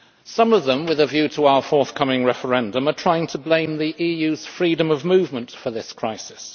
Some of them, with a view to our forthcoming referendum, are trying to blame the EU's freedom of movement for this crisis.